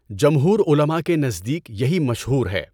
جمہور علماء کے نزدیک یہی مشہور ہے۔